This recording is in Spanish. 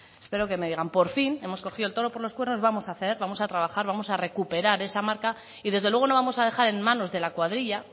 espero que me digan por fin hemos cogido el toro por los cuernos vamos a hacer vamos a trabajar vamos a recuperar esa marca y dese luego no vamos a dejar en manos de la cuadrilla